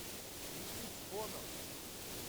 убить боно